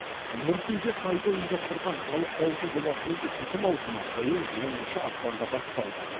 нұр кизед сайты ұйымдастырған халық дауысы жобасының үшінші маусымы биыл оныншы ақпанда басталды